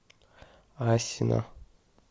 асино